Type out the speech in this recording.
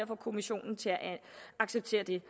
få kommissionen til at acceptere det